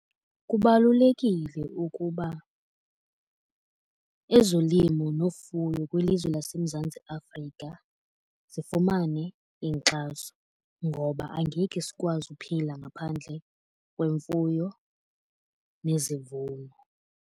Kubalulekile ukuba ezolimo nofuya kwilizwe laseMzantsi Afrika zifumane inkxaso. Ngoba angeke sikwazi uphila ngaphandle kwemfuyo nezivuno.